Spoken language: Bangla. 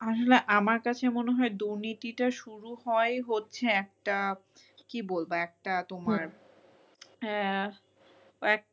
আমরা আমার কাছে মনে হয় দুর্নীতিটা শুরু হয়, হচ্ছে একটা কি বলবো একটা তোমার আহ